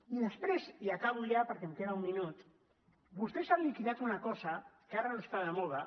i després i acabo ja perquè em queda un minut vostès han liquidat una cosa que ara no està de moda